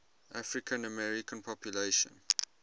african american population